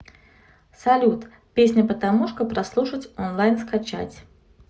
салют песня патамушка прослушать онлайн скачать